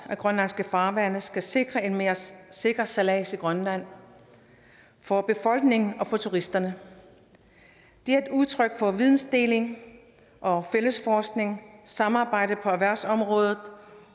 grønlandske farvande skal sikre en mere sikker sejlads i grønland for befolkningen og for turisterne det er et udtryk for vidensdeling og fælles forskning samarbejde på erhvervsområdet